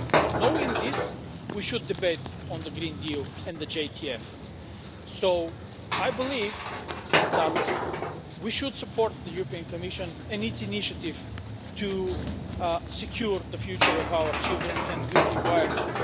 And knowing this we should debate on the Green Deal and the JTF. So, I believe that we should support the European Commission and its initiative to secure the future of our children and a good environment.